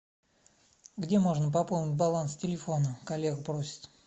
где можно пополнить баланс телефона коллега просит